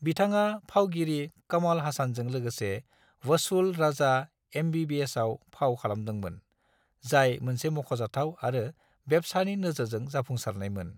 बिथाङा फावगिरि कमल हासानजों लोगोसे वसूल राजा एमबीबीएसआव फाव खालादोंमोन, जाय मोनसे मख'जाथाव आरो बेब्सानि नोजोरजों जाफुंसारनायमोन।